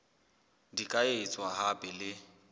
di ka etswa hape le